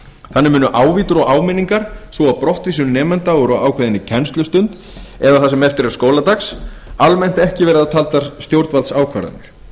þannig munu ávítur og áminningar svo og brottvísun nemenda úr ákveðinni kennslustund eða það sem eftir er skóladags almennt ekki verða taldar stjórnvaldsákvarðanir